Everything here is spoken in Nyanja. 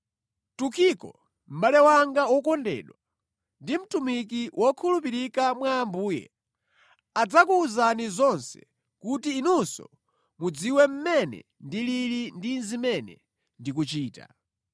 Tukiko, mʼbale wanga wokondedwa ndi mtumiki wokhulupirika mwa Ambuye, adzakuwuzani zonse kuti inunso mudziwe mmene ndilili ndi zimene ndikuchita.